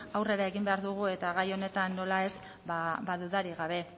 aurrera egin behar dugu eta gai honetan nola ez ba dudarik gabe